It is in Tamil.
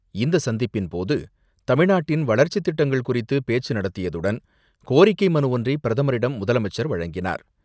இந்த சந்திப்பின் போது தமிழ்நாட்டின் வளர்ச்சித் திட்டங்கள் குறித்து பேச்சு நடத்தியதுடன் கோரிக்கை மனு ஒன்றை பிரதமரிடம் முதலமைச்சர் வழங்கினார்.